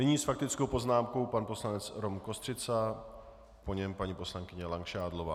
Nyní s faktickou poznámkou pan poslanec Rom Kostřica, po něm paní poslankyně Langšádlová.